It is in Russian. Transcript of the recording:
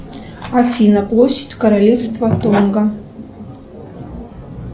афина площадь королевства тонга